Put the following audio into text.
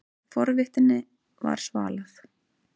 Forvitninni var svalað.